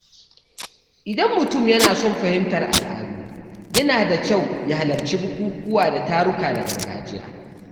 Idan mutum yana son fahimtar al’adu, yana da kyau ya halarci bukukuwa da taruka na gargajiya.